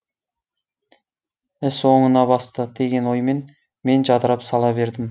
іс оңына басты деген оймен мен жадырап сала бердім